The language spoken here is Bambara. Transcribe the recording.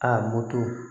A moto